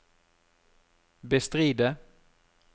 bestride